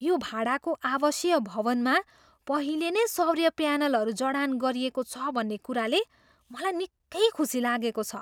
यो भाडाको आवासीय भवनमा पहिले नै सौर्य प्यानलहरू जडान गरिएको छ भन्ने कुराले मलाई निकै खुसी लागेको छ।